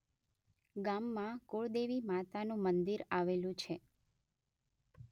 ગામમાં કુળદેવી માતાનું મંદિર આવેલું છે